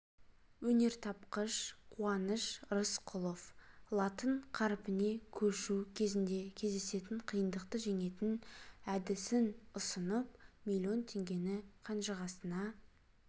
өнертапқыш қуаныш рысқұлов латын қаріпіне көшу кезінде кездесетін қиындықты жеңетін әдісін ұсынып миллион теңгені қанжығасына